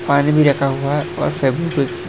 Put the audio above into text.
पानी भी रखा हुआ है और सब कुछ--